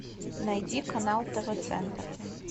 найди канал тв центр